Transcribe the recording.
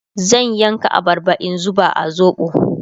zan yanka abarban in zuba a zoɓo